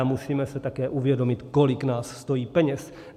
A musíme si také uvědomit, kolik nás stojí peněz.